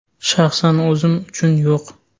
Shaxsan o‘zim uchun yo‘q.